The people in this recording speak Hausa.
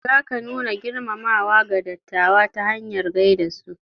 Zaka nuna girmamawa ga dattawa ta hanyar gaida su.